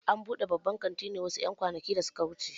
An buɗe babban kantin ne wasu ƴan kwanakin da suka wuce